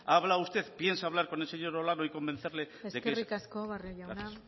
ha hablado usted piensa hablar con el señor olano y convencerle gracias eskerrik asko barrio jauna